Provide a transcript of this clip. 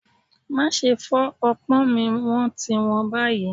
Máa ṣe fọ́ ọpọ́n mi wón ti wón báyìí.